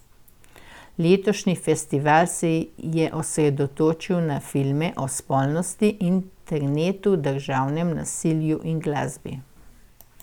Letošnji festival se je osredotočil na filme o spolnosti, internetu, državnem nasilju in glasbi.